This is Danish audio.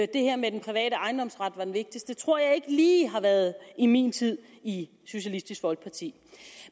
det her med at den private ejendomsret var det vigtigste emne tror jeg ikke lige har været i min tid i socialistisk folkeparti